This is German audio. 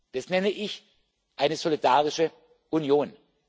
Das nenne ich eine solidarische Union.